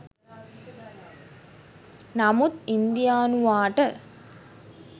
නමුත් ඉන්දියානුවාට